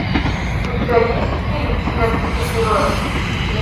у тебя есть фильм смерть супергероя